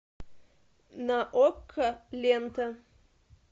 на окко лента